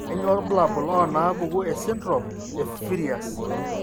Kainyio irbulabul onaapuku esindirom eFrias?